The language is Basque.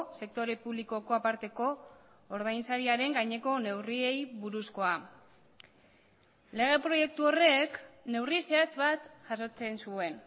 sektore publikoko aparteko ordain sariaren gaineko neurriei buruzkoa lege proiektu horrek neurri zehatz bat jasotzen zuen